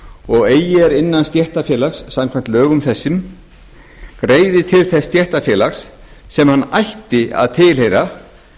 og eigi er innan stéttarfélags samkvæmt lögum þessum greiðir til þess stéttarfélags sem hann ætti að tilheyra